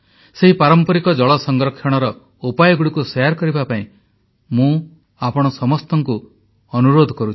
ସେହି ପାରମ୍ପରିକ ଜଳ ସଂରକ୍ଷଣର ଉପାୟଗୁଡ଼ିକୁ ସେୟାର କରିବା ପାଇଁ ମୁଁ ଆପଣ ସମସ୍ତଙ୍କୁ ଅନୁରୋଧ କରୁଛି